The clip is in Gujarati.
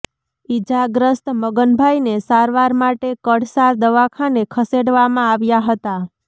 ઈજાગ્રસ્ત મગનભાઈને સારવાર માટે કળસાર દવાખાને ખસેડવામાં આવ્યાં હતા